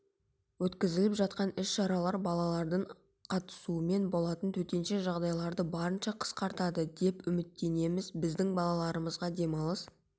өткізіліп жатқан іс-шаралар балалардын қатысуымен болатын төтенше жағдайларды барынша қысқартады деп үміттенеміз біздің балаларымызға демалыс